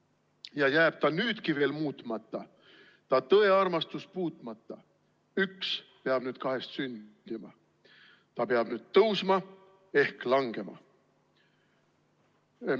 / Ja jääb ta nüüdki veel muutmata, / ta tõe-armastus puut'mata, / üks peab nüüd kahest sündima: / ta peab nüüd tõusma ehk langema!